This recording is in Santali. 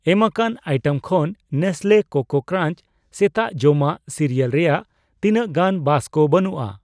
ᱮᱢᱟᱠᱟᱱ ᱟᱭᱴᱮᱢ ᱠᱷᱚᱱ ᱱᱮᱥᱞᱮ ᱠᱳᱠᱳ ᱠᱨᱟᱧᱪ ᱥᱮᱛᱟᱜ ᱡᱚᱢᱟᱜ ᱥᱤᱨᱤᱭᱟᱞ ᱨᱮᱭᱟᱜ ᱛᱤᱱᱟᱹᱜ ᱜᱟᱱ ᱵᱟᱥᱠᱟ ᱵᱟᱱᱩᱜᱼᱟ ᱾